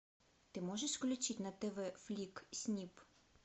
ты можешь включить на тв флик снип